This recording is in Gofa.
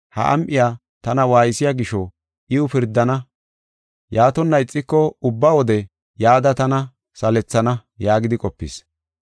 ha am7iya tana waaysiya gisho iw pirdana; yaatonna ixiko ubba wode yada tana salethana’ ” yaagidi qopis.